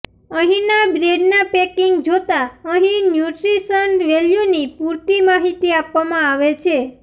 અહીંના બ્રેડના પેકીંગ જોતા અહી ન્યુટ્રીશન વેલ્યુની પૂરતી માહિતી આપવામા આવે છે